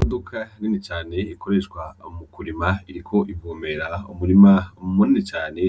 Buduka rimwe cane ikoreshwa mu kurima iriko ibumera umurima Muminu cane